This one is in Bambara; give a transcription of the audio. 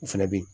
U fɛnɛ be yen